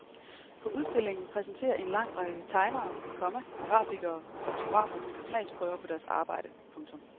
På udstillingen præsenterer en lang række tegnere, komma grafikere og fotografer smagsprøver på deres arbejde. punktum